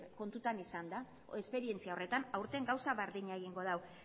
kontutan izanda esperientzia horretan aurten gauza berdina egingo dau